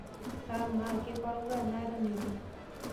Paa amaa keikoroga enaa eton etu?